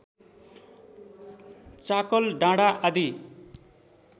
चाकल डाँडा आदि